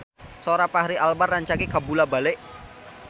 Sora Fachri Albar rancage kabula-bale